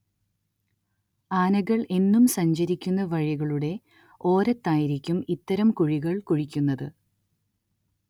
ആനകൾ എന്നും സഞ്ചരിക്കുന്ന വഴികളുടെ ഓരത്തായിരിക്കും ഇത്തരം കുഴികൾ കുഴിക്കുക